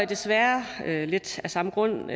desværre lidt af samme grund